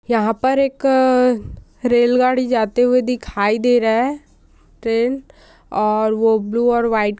यहाँ पर एक अ- रेलगाड़ी जाते हुए दिखाई दे रहा है ट्रेन और वो ब्लू और व्हाइट --